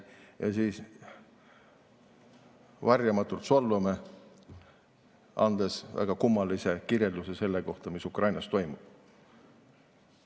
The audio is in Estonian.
Ja siis varjamatult solvame, andes väga kummalise kirjelduse sellest, mis Ukrainas toimub.